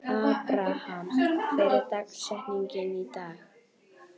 Abraham, hver er dagsetningin í dag?